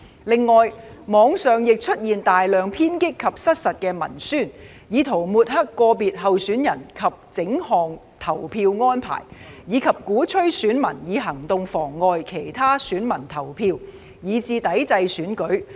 另外，網上亦出現大量偏激及失實的文宣，以圖抹黑個別候選人及整項投票安排，以及鼓吹選民以行動妨礙其他選民投票，以至抵制選舉。